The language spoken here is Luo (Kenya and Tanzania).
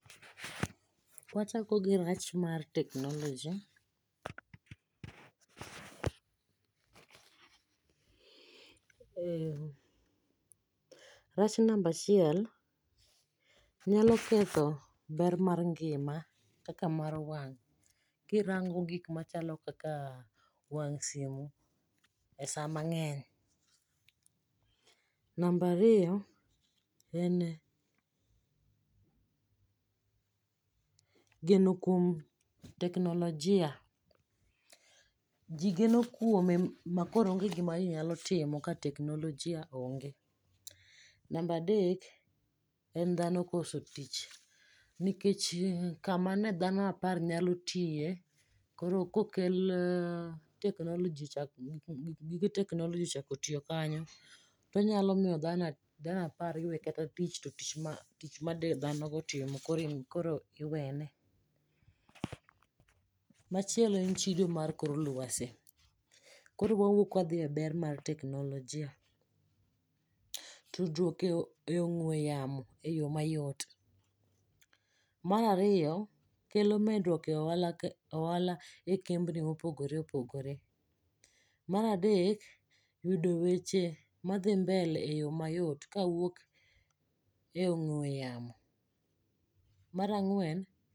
Wachakogi rach mar teknoloji. Ee rach namba achiel, nyalo ketho ber mar ngima kaka mar wang' kirango gik machalo kakaa wang' simu e saa mang'eny. Namba ariyo, en geno kuom teknolojia. Ji geno kuome makoro onge gima jii nyalo timo ka teknolojia onge. Namba adek en dhano koso tich nikech kama ne dhano apar nyalo tiye koro kokell teknolojicha gige teknoloji chako tiyo kanyo, tonyalo miyo dhano apar iwe kata tich to tich made dhanogo otimo koro iwene. Machielo en chido mar kor lwasi. Koro wawuok wadhie ber mar teknolojia. Tudruok e ong'we yamo eyo mayot. Mar ariyo kelo medruok e ohala ohala ekembni mopogore opogore. Mar adek yudo weche madhi mbele eyo mayot kawuok e ong'we yamo. Mar ang'wen